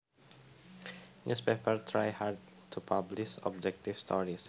Newspapers try hard to publish objective stories